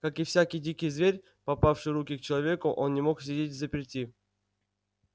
как и всякий дикий зверь попавший в руки к человеку он не мог сидеть взаперти